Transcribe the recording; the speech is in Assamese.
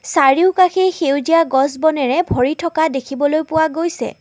চাৰিওকাষে সেউজীয়া গছ বনেৰে ভৰি থকা দেখিবলৈ পোৱা গৈছে।